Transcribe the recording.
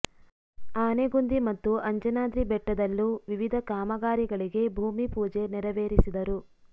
ಆನೆಗೊಂದಿ ಮತ್ತು ಅಂಜನಾದ್ರಿ ಬೆಟ್ಟದಲ್ಲೂ ವಿವಿಧ ಕಾಮಗಾರಿಗಳಿಗೆ ಭೂಮಿ ಪೂಜೆ ನೆರವೇರಿಸಿದರು